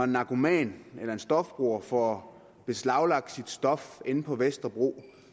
narkoman eller stofbruger får beslaglagt sit stof inde på vesterbro